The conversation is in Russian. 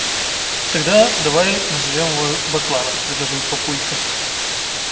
тогда давай назовём его бакланов предложил папулька